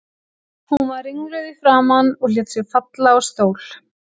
Hún var ringluð í framan og lét sig falla á stól.